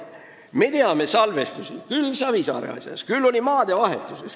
Me teame salvestisi Savisaare ja maadevahetuse asja kohta.